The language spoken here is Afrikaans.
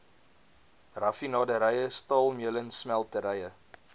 raffinaderye staalmeulens smelterye